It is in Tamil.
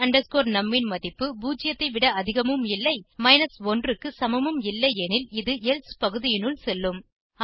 my num ன் மதிப்பு 0 ஐ விட அதிகமும் இல்லை 1 க்கு சமமும் இல்லை எனில் இது எல்சே பகுதியினுள் செல்லும்